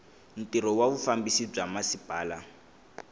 ntirho wa vufambisi bya masipala